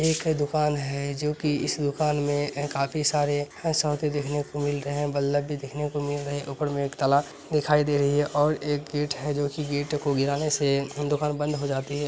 एक दुकान है जो कि इस दुकान में काफी सारे देखने को मिल रहे हैं बललब भी देखने को मिल रहे ऊपर में ताला दिखाई दे रही है और एक गेट है जो की गेट को गिराने से दुकान बंद हो जाती है।